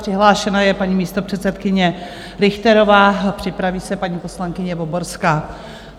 Přihlášena je paní místopředsedkyně Richterová, připraví se paní poslankyně Voborská.